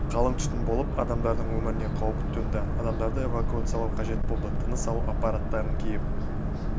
қалың түтін болып адамдардың өміріне қауіп төнді адамдарды эвакуациялау қажет болды тыныс алу аппараттарын киіп